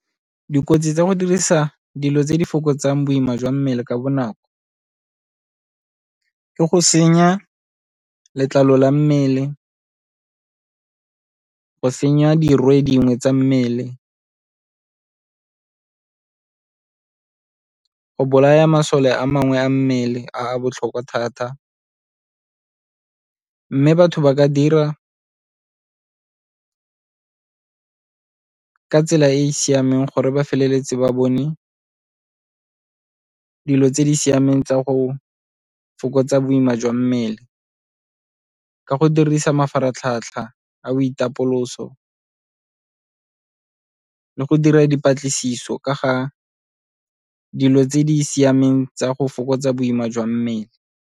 Dikotsi tsa go dirisa dilo tse di fokotsang boima jwa mmele ka bonako ke go senya letlalo la mmele, go senya dirwe dingwe tsa mmele, go bolaya masole a mangwe a mmele a a botlhokwa thata. Mme batho ba ka dira ka tsela e e siameng gore ba feleletse ba bone dilo tse di siameng tsa go fokotsa boima jwa mmele, ka go dirisa mafaratlhatlha a boitapoloso le go dira dipatlisiso ka ga dilo tse di siameng tsa go fokotsa boima jwa mmele.